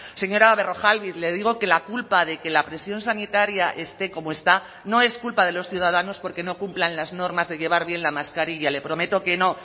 señora berrojalbiz le digo que la culpa de que la presión sanitaria esté como está no es culpa de los ciudadanos porque no cumplan las normas de llevar bien la mascarilla le prometo que no